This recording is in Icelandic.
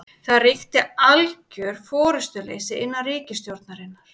Það ríki algjör forystuleysi innan ríkisstjórnarinnar